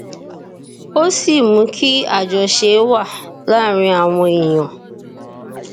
ó sì mú kí àjọṣe wà láàárín àwọn èèyàn